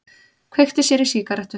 Kveikti sér í sígarettu.